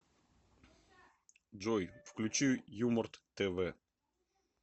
джой включи юморт тэ вэ